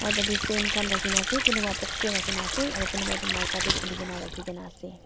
pethe difan khan dekhi kina ase kunu ba box rakhi kina ase kunu ba maika teh khuli kena dekhi ase.